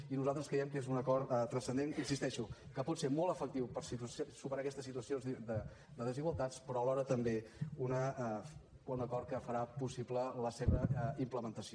i nosaltres creiem que és un acord transcendent hi insisteixo que pot ser molt efectiu per superar aquestes situacions de desigualtats però alhora també un acord que farà possible la seva implementació